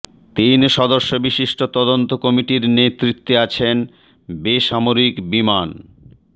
তিন সদস্য বিশিষ্ট তদন্ত কমিটির নেতৃত্বে আছেন বেসামরিক বিমান